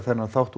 þátt